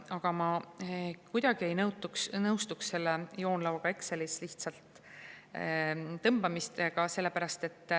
Aga ma kohe kuidagi ei nõustu selle joonlauaga Excelis tõmbamisega.